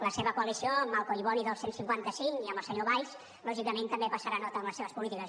la seva coalició amb el collboni del cent i cinquanta cinc i amb el senyor valls lògicament també passarà nota en les seves polítiques